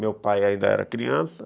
Meu pai ainda era criança.